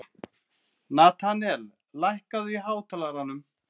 Natanael, lækkaðu í hátalaranum.